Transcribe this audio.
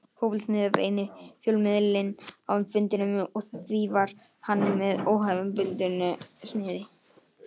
Fótbolti.net var eini fjölmiðillinn á fundinum og því var hann með óhefðbundnu sniði.